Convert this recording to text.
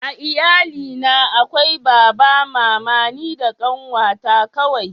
a iyali na akwai baba mama ni da ƙanwa ta kawai